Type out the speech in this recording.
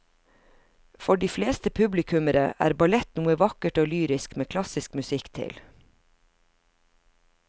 For de fleste publikummere er ballett noe vakkert og lyrisk med klassisk musikk til.